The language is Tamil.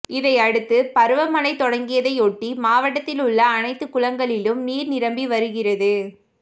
இதையடுத்து பருவமழை தொடங்கியதையொட்டி மாவட்டத்திலுள்ள அனைத்து குளங்களிலும் நீா் நிரம்பி வருகிறது